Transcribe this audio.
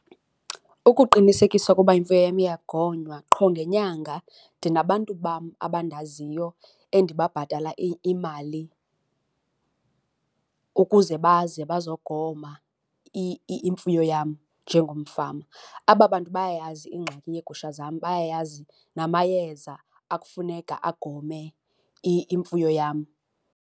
Ukuqinisekisa ukuba imfuyo yam iyagonywa, qho ngenyanga ndinabantu bam abandaziyo endibabhatala imali ukuze baze bazogoma imfuyo yam njengomfama. Aba bantu bayayazi ingxaki yeegusha zam, bayayazi namayeza akufuneka agome imfuyo yam.